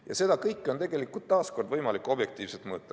Ja seda kõike on taas kord tegelikult võimalik objektiivselt mõõta.